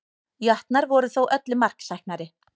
Jötnar voru þó öllu marksæknari